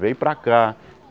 Vem para cá.